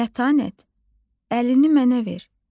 Mətanət əlini mənə ver.